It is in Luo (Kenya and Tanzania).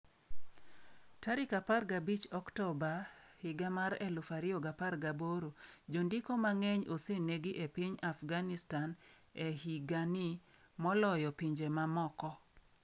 15 Oktoba 2018 Jondiko mang'eny osenegi e piny Afghanistan e higa ni moloyo pinje mamoko.